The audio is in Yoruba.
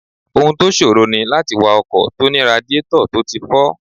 Ohun tó ṣòro ní láti wa ọkọ̀ tó ní radiétọ̀ tó ti fọ́